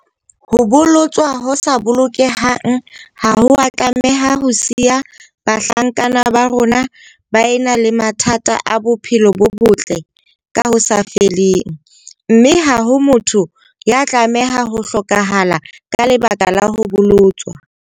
Ho bolo-tswa ho sa bolokehang ha ho a tlameha ho siya bahlankana ba rona ba ena le mathata a bophelo bo botle ka ho sa feleng, mme ha ho motho ya tlameha ho hlokahala ka leba-ka la ho bolotswa.